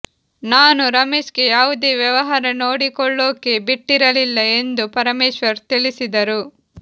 ನಾನು ರಮೇಶ್ಗೆ ಯಾವುದೇ ವ್ಯವಹಾರ ನೋಡಿಕೊಳ್ಳೋಕೆ ಬಿಟ್ಟಿರಲಿಲ್ಲ ಎಂದು ಪರಮೇಶ್ವರ್ ತಿಳಿಸಿದರು